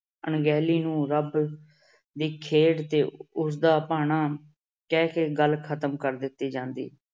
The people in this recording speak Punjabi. ਅਣਗਹਿਲੀ ਨੂੰ ਰੱਬ ਦੀ ਖੇਡ ਤੇ ਉਸਦਾ ਭਾਣਾ ਕਹਿ ਕੇ ਗੱਲ ਖਤਮ ਕਰ ਦਿੱਤੀ ਜਾਂਦੀ।